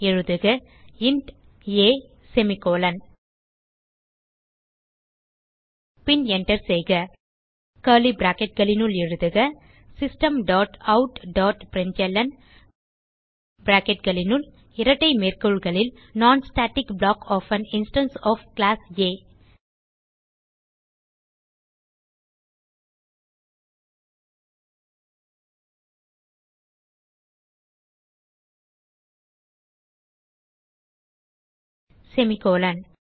எழுதுக int a semicolon பின் Enter செய்க கர்லி bracketகளினுள் எழுதுக system dot out dot println bracketகளுனுள் இரட்டை மேற்கோள்களில் non static block of an instance of class a semicolon